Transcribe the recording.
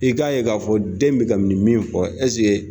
I k'a ye k'a fɔ den bɛ ka nin min fɔ